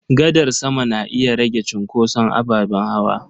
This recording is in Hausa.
Gadar sama na iya rage cunkoson ababen hawa.